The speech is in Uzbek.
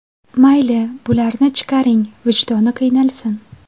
Mayli, bularni chiqaring, vijdoni qiynalsin.